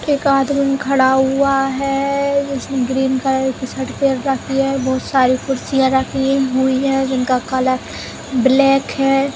एक आदमी खड़ा हुआ है। इसने ग्रीन कलर की शर्ट पहन रखी है। बहोत सारी कुर्सियाँ रखी हुई हैं जिनका कलर ब्लैक है।